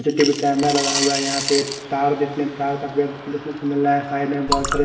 CTV camera लगा हुआ है यहाँ पर तार देखने तार के पेड़ देखने को मिल रहा है साइड में बहोत सारे--